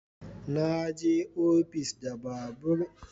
Na je ofis da babur